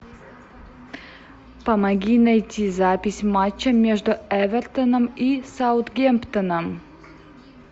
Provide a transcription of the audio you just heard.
помоги найти запись матча между эвертоном и саутгемптоном